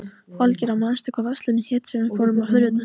Valgerða, manstu hvað verslunin hét sem við fórum í á þriðjudaginn?